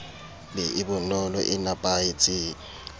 be e bonolo e napahetseng